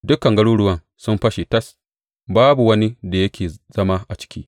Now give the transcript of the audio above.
Dukan garuruwan sun fashe tas; babu wani da yake zama a ciki.